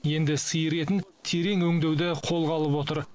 енді сиыр етін терең өңдеуді қолға алып отыр